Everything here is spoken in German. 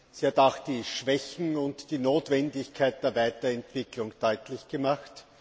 Sie hat auch die Schwächen und die Notwendigkeit der Weiterentwicklung deutlich gemacht.